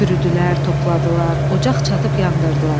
Kürdülər, topladılar, ocaq çatıb yandırdılar.